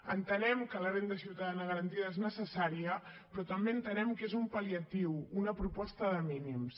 entenem que la renda ciutadana garantida és necessària però també entenem que és un pal·liatiu una proposta de mínims